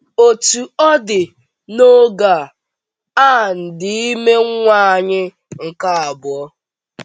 Otú ọ dị, n’oge a, Ann dị ime nwa anyị nke abụọ.